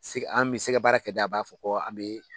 An bɛ sɛgɛbaara kɛ dɛ a b'a fɔ ko an bɛ